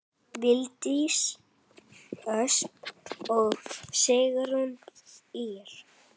Valdís Ösp og Sigrún Ýr.